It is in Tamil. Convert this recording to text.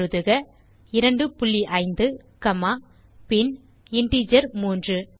எழுதுக 25 காமா பின் இன்டிஜர் 3